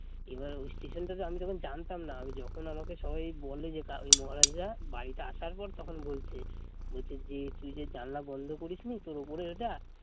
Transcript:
এবার ওই স্টেশন টাতো আমি তো জানতাম না আমি যখন আমাকে সবাই বলে যে ওই মহারাজরা বাড়িতে আসার পর তখন বলছে বলছে যে তুই যে জানলা বন্ধ করিস নি তোর উপরের ওটা